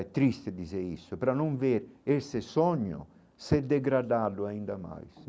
É triste dizer isso, para não ver esse sonho ser degradado ainda mais.